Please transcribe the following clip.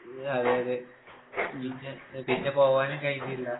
ഇഹ് അതെയതെ. പിന്നെ പിന്നെ പോവാനും കഴിഞ്ഞില്ല.